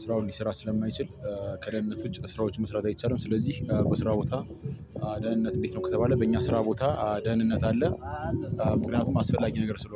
ስራውን ሊሰራ ስለማይችል። ከደህንነት ውጭ ስራዎች መስራት አይቻልም። ስለዚህ በስራ ቦታ ደህንነት እንዴት ነው ከተባለ በእኛ ስራ ቦታ ደህንነት አለ። ምክንያቱም አስፈላጊ ነገር ስለሆነ